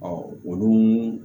olu